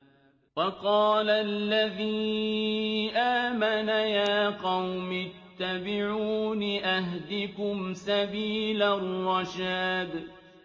وَقَالَ الَّذِي آمَنَ يَا قَوْمِ اتَّبِعُونِ أَهْدِكُمْ سَبِيلَ الرَّشَادِ